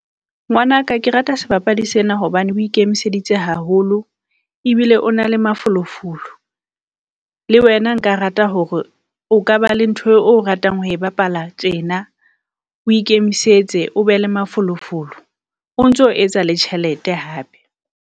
Ngwanaka Ke rata sebapadi sena hobane o ikemiseditse haholo, ebile o na le mafolofolo. Le wena nka rata hore o ka ba le ntho eo o ratang ho e bapala tjena. O ikemisetse o be le mafolofolo, o ntso etsa le tjhelete hape.